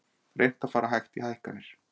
Reynt að fara vægt í hækkanir